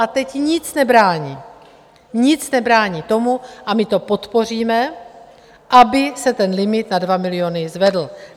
A teď nic nebrání, nic nebrání tomu - a my to podpoříme - aby se ten limit na 2 miliony zvedl.